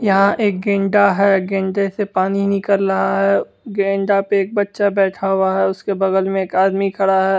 यहां एक गैंडा है गैंडा से पानी निकल रहा है गैंडा पे एक बच्चा बैठा हुआ है उसके बगल में एक आदमी खड़ा है।